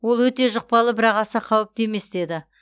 ол өте жұқпалы бірақ аса қауіпті емес деді